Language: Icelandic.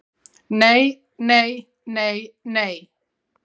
Nei, nei, nei nei